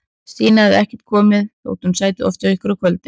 Stína hafði ekkert komið, þótt hún sæti oft hjá okkur á kvöldin.